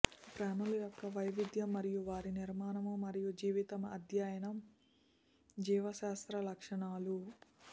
ప్రాణుల యొక్క వైవిధ్యం మరియు వారి నిర్మాణం మరియు జీవితం అధ్యయనం జీవశాస్త్రం లక్షణాలు